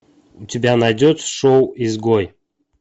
у тебя найдется шоу изгой